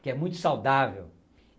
que é muito saudável.